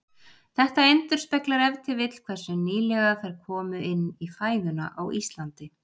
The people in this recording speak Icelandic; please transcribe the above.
Þetta endurspeglar ef til vill hversu nýlega þær komu inn í fæðuna á Íslandi.